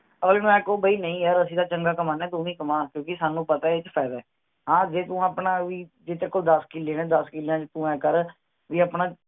ਅਗਲੇ ਨੂੰ ਆਏਂ ਕਹੋ ਵੀ ਨਹੀਂ ਯਾਰ ਅਸੀਂ ਤਾਂ ਚੰਗਾ ਕਮਾਉਂਦੇ ਹਾਂ ਤੂੰ ਵੀ ਕਮਾ ਕਿਉਂਕਿ ਸਾਨੂ ਪਤਾ ਹੈ ਇਸ ਚ ਫਾਇਦਾ ਹੈ, ਹਾਂ ਜੇ ਤੂੰ ਆਪਣਾ ਵੀ ਜੇ ਤੇਰੇ ਕੋਲ ਦੱਸ ਕਿਲੇ ਹੈਂ ਦੱਸ ਕਿਲਿਆਂ ਚ ਤੂੰ ਆਈ ਕਰ ਵੀ ਅਪਣਾ